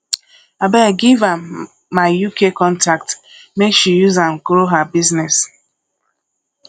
abeg give am my uk contact make she use am grow her business